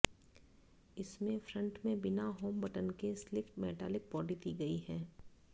इसमें फ्रंट में बिना होम बटन के स्लिक मेटालिक बॉडी दी गई है